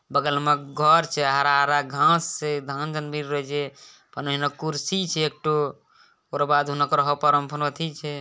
बगल में घर छे | हरा-हरा घाँस छे | धान भी कउनो एगो कुर्सी छे | एकठो उकरो बाद छे।